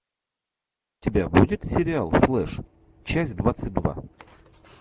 у тебя будет сериал флеш часть двадцать два